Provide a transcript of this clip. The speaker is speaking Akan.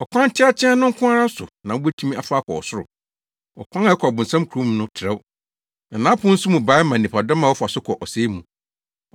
“Ɔkwan teateaa no nko ara so na wubetumi afa akɔ ɔsoro! Ɔkwan a ɛkɔ ɔbonsam kurom no trɛw, na nʼapon nso mu bae ma nnipadɔm a wɔfa so kɔ ɔsɛe mu.